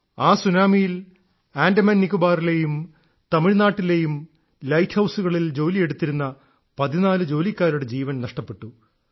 ആ സുനാമിയിൽ ആൻഡമാൻ നിക്കോബറിലെയും തമിഴ്നാട്ടിലെയും ലൈറ്റ് ഹൌസുകളിൽ പണിയെടുത്തിരുന്ന 14 ജോലിക്കാരുടെ ജീവൻ നഷ്ടപ്പെട്ടു